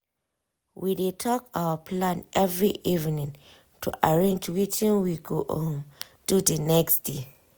we dey talk our plan every evening to arrange wetin we go um do the next day. um